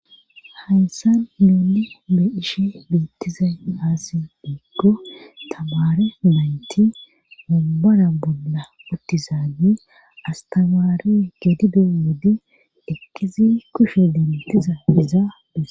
Haysan muuli be ishe beettizay aasi bieggo tamare naynti mumbara bolla uttizaani astamaari gedide wode ekkizi kushe dentiza izaades.